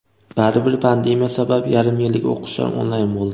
Baribir pandemiya sabab yarim yillik o‘qishlar onlayn bo‘ldi.